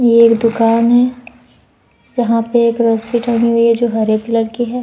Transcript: ये एक दुकान है जहाँ पे एक रस्सी टंगी हुयी है जो हरे कलर की है।